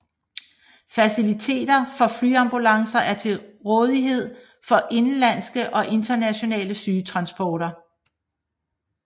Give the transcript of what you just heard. Faciliteter for flyambulancer er til rådeighed for indenlandske og internationale sygetransporter